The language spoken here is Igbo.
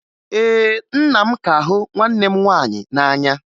Ee, nna m ka hụ nwanne m nwaanyị n'anya